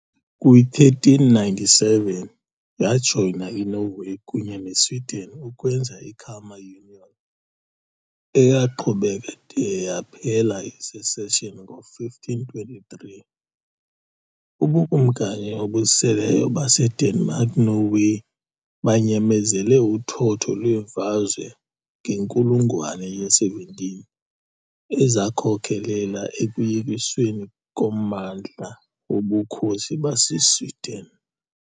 Kwi-1397, yajoyina iNorway kunye neSweden ukwenza i- Kalmar Union, eyaqhubeka de yaphela i-secession ngo-1523. UBukumkani obuseleyo baseDenmark-Norway banyamezele uthotho lweemfazwe ngenkulungwane ye-17 ezakhokelela ekuyekisweni kommandla woBukhosi baseSweden .